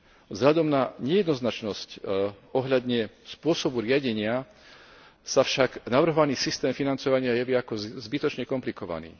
Vzhľadom na nejednoznačnosť ohľadne spôsobu riadenia sa však navrhovaný systém financovania javí ako zbytočne komplikovaný.